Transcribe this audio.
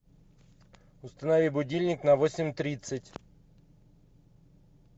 установи будильник на восемь тридцать